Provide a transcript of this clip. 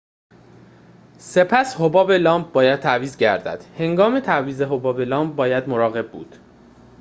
سپس حباب لامپ باید تعویض گردد هنگام تعویض حباب لامپ باید مراقب بود